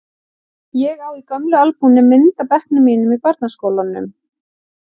Ég á í gömlu albúmi mynd af bekknum mínum í barnaskólanum í